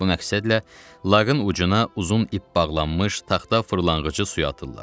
Bu məqsədlə laqın ucuna uzun ip bağlanmış taxta fırlanğacı suya atırlar.